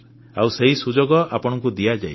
ଆଉ ସେହି ସୁଯୋଗ ଆପଣଙ୍କୁ ଦିଆଯାଇଛି